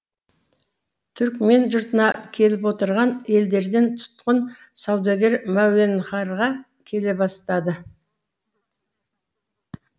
түрікмен жұртына келіп отырған елдерден тұтқын саудагер мәуенхарға келе бастады